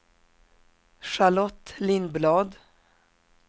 Charlotte Lindblad